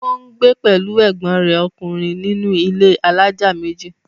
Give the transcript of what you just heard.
ó ń gbé pẹ̀lú ègbọ́n rẹ̀ ọkùnrin nínú ilé alájà méjì.